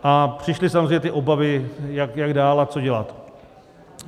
A přišly samozřejmě ty obavy, jak dál a co dělat.